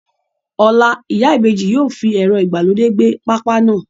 Ọ̀la, Ìyá Ibeji yóò fi ẹ̀rọ ìgbàlódé gbẹ pápá náà.